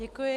Děkuji.